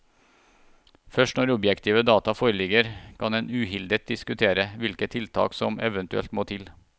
Først når objektive data foreligger, kan en uhildet diskutere hvilke tiltak som eventuelt må til.